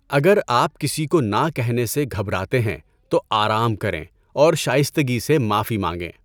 اگر آپ کسی کو نا کہنے سے گھبراتے ہیں تو آرام کریں اور شائستگی سے معافی مانگیں۔